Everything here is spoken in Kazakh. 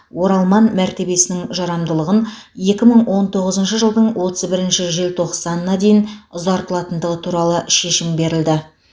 оралман мәртебесінің жарамдылығын екі мың он тоғызыншы жылдың отыз бірінші желтоқсанына дейін ұзартылатындығы туралы шешім берілді